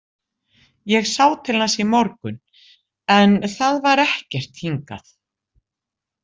Ég sá til hans í morgun en það var ekkert hingað